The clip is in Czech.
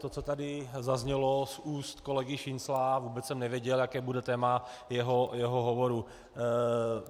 To, co tady zaznělo z úst kolegy Šincla, vůbec jsem nevěděl, jaké bude téma jeho hovoru.